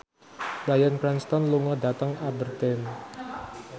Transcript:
Bryan Cranston lunga dhateng Aberdeen